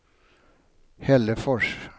Hällefors